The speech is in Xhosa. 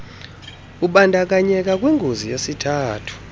ubandakanyeka kwingozi yesithuthi